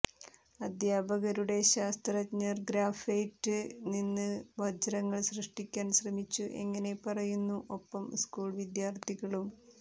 അധ്യാപകരുടെ ശാസ്ത്രജ്ഞർ ഗ്രാഫൈറ്റ് നിന്ന് വജ്രങ്ങൾ സൃഷ്ടിക്കാൻ ശ്രമിച്ചു എങ്ങനെ പറയുന്നു ഒപ്പം സ്കൂൾ വിദ്യാർത്ഥികളും